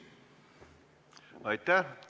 Aitäh!